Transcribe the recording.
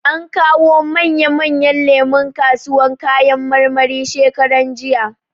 An kawo manya manyan lemu kasuwan kayan marmari shekaran jija.